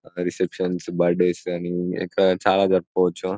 reception birthday కానీ ఇంకా చాలా జరుపుకోవచ్చు